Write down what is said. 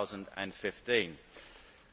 2015.